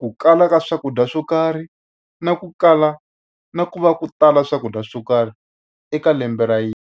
Ku kala ka swakudya swo karhi na ku kala na ku va ku tala swakudya swo karhi eka lembe ra .